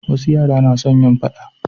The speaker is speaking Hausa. wasu yara na son yin faɗa